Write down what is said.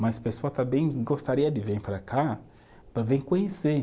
Mas as pessoas também gostaria de vir para cá para vir conhecer.